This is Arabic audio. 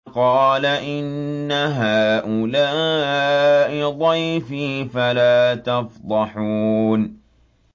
قَالَ إِنَّ هَٰؤُلَاءِ ضَيْفِي فَلَا تَفْضَحُونِ